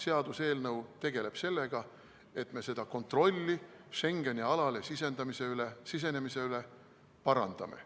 Seaduseelnõu tegeleb sellega, et me seda kontrolli Schengeni alale sisenemise üle parandaksime.